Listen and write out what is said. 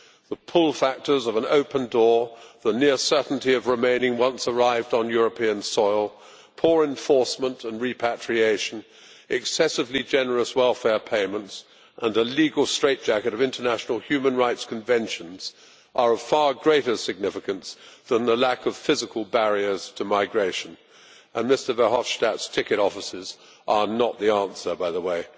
The pull factors of an open door, the near certainty of remaining once arrived on European soil, poor enforcement and repatriation, excessively generous welfare payments, and a legal straitjacket of international human rights conventions, are of far greater significance than the lack of physical barriers to migration and Mr Verhofstadt's ticket offices are not the answer, by the way.